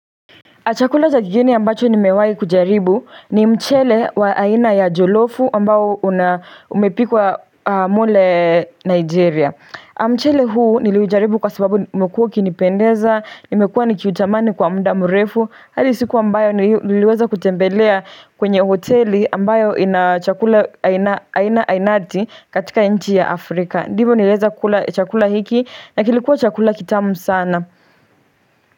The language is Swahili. Achakula za kigeni ambacho nimewai kujaribu ni mchele wa aina ya jolofu ambao una umepikwa mule nigeria mchele huu niliujaribu kwa sababu umekuwa ukinipendeza nimekuwa nikiutamani kwa mda mrefu hadi siku ambayo niliweza kutembelea kwenye hoteli ambayo inachakula aina aina ainati katika nchi ya afrika ndivo nilieza kula chakula hiki na kilikuwa chakula kitamu sana.